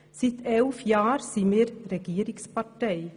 Seit elf Jahren sind wir Regierungspartei.